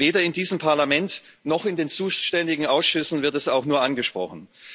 Weder in diesem Parlament noch in den zuständigen Ausschüssen wird es auch nur angesprochen.